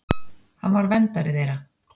Hann var verndari þeirra.